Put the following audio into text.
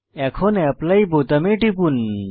এখন অ্যাপলি বোতামে টিপুন